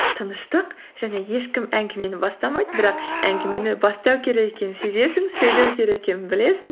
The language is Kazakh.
тыныштық және ешкім әңгімені бастамайды бірақ әңгімені бастау керек екенін сезесің сөйлеу керек екенін білесің